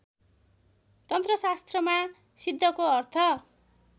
तन्त्रशास्त्रमा सिद्धको अर्थ